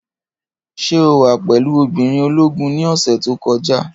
Ṣé o wà pẹ̀lú obìnrin ológun ní ọ̀sẹ̀ tó kọjá?